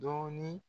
Dɔɔnin